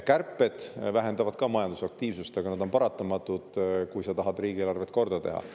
Kärped vähendavad ka majandusaktiivsust, aga need on paratamatud, kui sa tahad riigieelarvet korda teha.